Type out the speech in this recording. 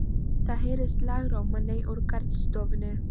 Það heyrist lágróma nei úr garðstofunni.